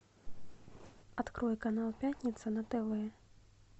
открой канал пятница на тв